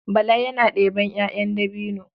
Bala yana ɗeban 'ya'yan dabino.